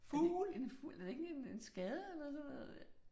Er det ikke en er det ikke en en skade eller sådan noget der